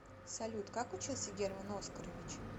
салют как учился герман оскарович